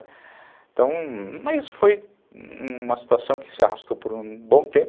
Então, mas foi uma situação que se arrastou por um bom tempo.